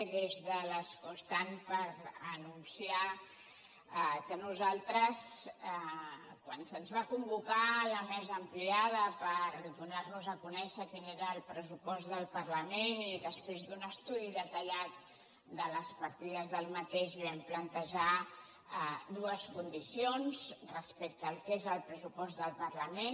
i des de l’escó estant per anunciar que nosaltres quan se’ns va convocar a la mesa ampliada per donar nos a conèixer quin era el pressupost del parlament i després d’un estudi detallat de les partides d’aquest pressupost vam plantejar dues condicions respecte al que és el pressupost del parlament